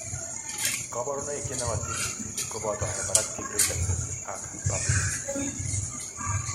Kabarunoik chenoyotin missing koboto hyperactive reflexes ak Babinkski's